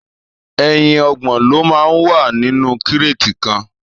Èyín ọgbọn ló mà n wà ninú kréti kàn